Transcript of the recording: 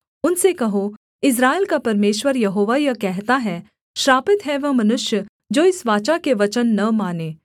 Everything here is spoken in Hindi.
उनसे कहो इस्राएल का परमेश्वर यहोवा यह कहता है श्रापित है वह मनुष्य जो इस वाचा के वचन न माने